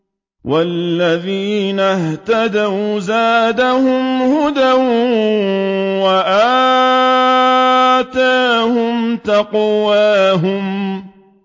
وَالَّذِينَ اهْتَدَوْا زَادَهُمْ هُدًى وَآتَاهُمْ تَقْوَاهُمْ